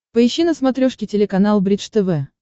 поищи на смотрешке телеканал бридж тв